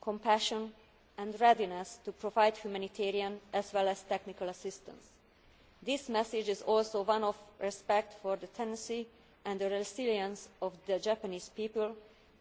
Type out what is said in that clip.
compassion and readiness to provide humanitarian as well as technical assistance. This message is also one of respect for the tenacity and the resilience of the Japanese people,